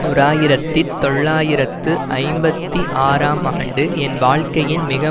ஓர் ஆயிரத்தி தொள்ளாயிரத்து ஐம்பத்தி ஆறாம் ஆண்டு என் வாழ்க்கையின் மிக